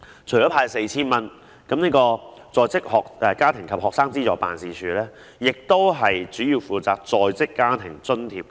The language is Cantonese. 除了派發 4,000 元外，在職家庭及學生資助事務處主要負責在職家庭津貼計劃。